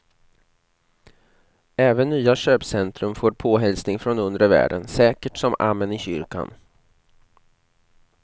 Även nya köpcentrum får påhälsning från undre världen säkert som amen i kyrkan.